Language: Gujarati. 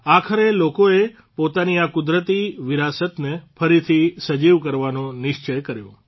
આખરે લોકોએ પોતાની આ કુદરતી વિરાસતને ફરીથી સજીવ કરવાનો નિશ્ચય કર્યો